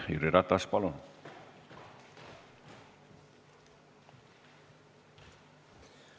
Jüri Ratas, palun!